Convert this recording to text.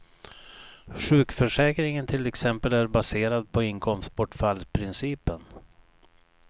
Sjukförsäkringen till exempel är baserad på inkomstbortfallsprincipen.